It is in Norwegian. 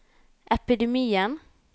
epidemien